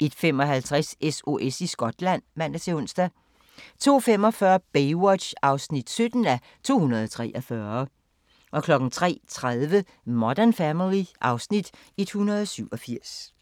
01:55: SOS i Skotland (man-ons) 02:45: Baywatch (17:243) 03:30: Modern Family (Afs. 187)